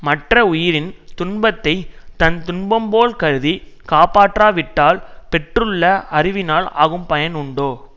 மற்ற உயிரின் துன்பத்தை தன் துன்பம் போல் கருதி காப்பாற்றா விட்டால் பெற்றுள்ள அறிவினால் ஆகும் பயன் உண்டோ